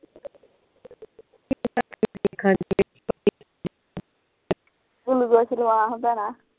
glucose ਲਾਵਾਂ ਹਨ ਭੈਣਾਂ